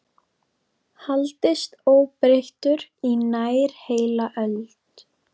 haldist óbreyttur í nær heila öld.